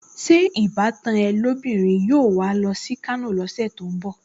Ṣé ìbátan ẹ lóbìnrin yóò wà á lọ sí Kano lọ́sẹ̀ tó ń bọ̀?